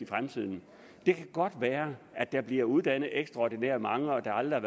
fremtiden det kan godt være at der bliver uddannet ekstraordinært mange og at der aldrig